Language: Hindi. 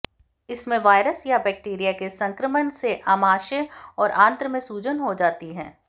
इसमें वायरस या बैक्टीरिया के संक्रमण से आमाशय और आंत्र में सूजन हो जाती है